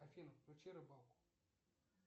афина включи рыбалку